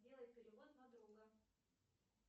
сделай перевод на друга